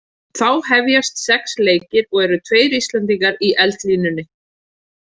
Þá hefjast sex leikir og eru tveir Íslendingar í eldlínunni.